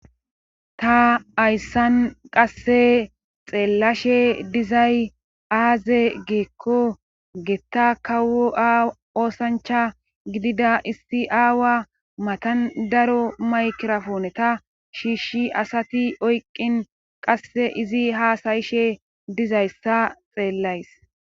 Ta hayssan qasse xeellashe dizay aaze geekko getta kawo aoosancha gidida issi aawa matan daro maykirafone ta shiishshi asati oyqqin qasse izi haasayishe dizayssa xeellays.